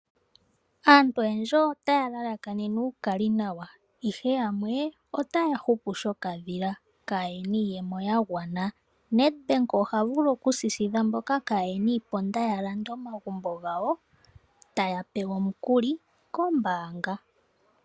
Aantu oyendji otaya lalakanene uukali nawa ihe yamwe otaya hupu shoka dhila kayena iiyemo yagwana. Nedbank oha vulu okusisidha mboka kayena iimaliwa ya lande omagumbo gawo taya pewa omukuli kombaanga